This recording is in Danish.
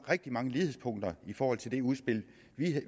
rigtig mange lighedspunkter i forhold til det udspil